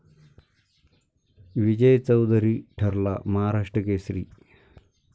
विजय चौधरी ठरला महाराष्ट्र केसरी